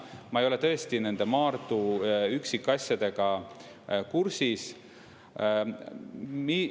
Ma ei ole tõesti nende Maardu üksikasjadega kursis.